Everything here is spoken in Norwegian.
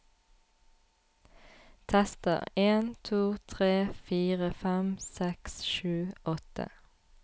Tester en to tre fire fem seks sju åtte